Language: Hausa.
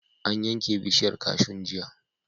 An yanke bishiyar kashun jiya.